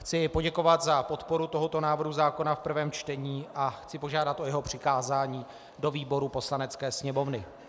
Chci poděkovat za podporu tohoto návrhu zákona v prvém čtení a chci požádat o jeho přikázání do výboru Poslanecké sněmovny.